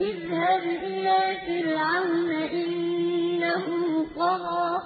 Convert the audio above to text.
اذْهَبْ إِلَىٰ فِرْعَوْنَ إِنَّهُ طَغَىٰ